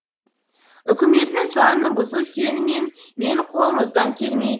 үкіметтің заңын бұзу сені мен менің қолымыздан келмейді